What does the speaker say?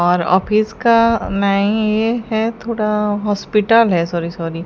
और ऑफिस का नही ये है थोड़ा हॉस्पिटल है सॉरी सॉरी --